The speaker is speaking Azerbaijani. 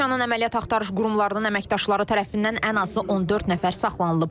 Rusiyanın əməliyyat axtarış qurumlarının əməkdaşları tərəfindən ən azı 14 nəfər saxlanılıb.